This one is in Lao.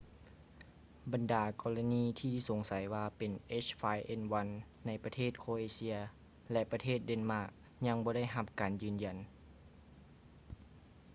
ບັນດາກໍລະນີທີ່ສົງໄສວ່າເປັນ ເອັດຈ໌ຟາຍເອັນວັນ h5n1 ໃນປະເທດ ໂຄຼເອເຊຍ ແລະ ປະເທດ ແດນມາກ ຍັງບໍ່ໄດ້ຮັບການຢືນຢັນ